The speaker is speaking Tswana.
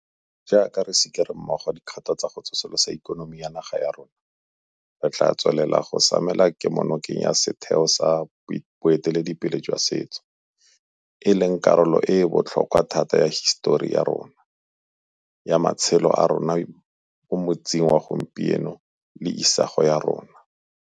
Jaaka re sikere mmogo dikgato tsa go tsosolosa ikonomi ya naga ya rona, re tla tswelela go samela kemonokeng ya setheo sa boiteledipele jwa setso, e leng karolo e e botlhokwa thata ya hisetori ya rona, ya matshelo a rona mo motsing wa gompieno le ya isago ya rona.